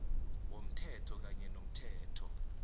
yomthetho kanye nomthetho